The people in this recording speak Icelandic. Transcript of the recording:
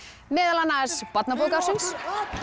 meðal annars barnabók ársins